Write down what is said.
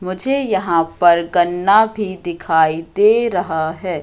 मुझे यहां पर गन्ना भी दिखाई दे रहा है।